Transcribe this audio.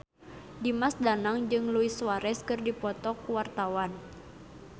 Dimas Danang jeung Luis Suarez keur dipoto ku wartawan